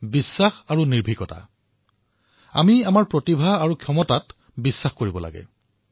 আমি নিজৰ দক্ষতা আৰু সামৰ্থৰ ওপৰত বিশ্বাস কৰিব লাগে নিজৰ প্ৰতিভা আৰু ক্ষমতাৰ ওপৰত বিশ্বাস কৰিব লাগে